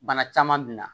Bana caman min na